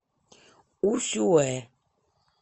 усюэ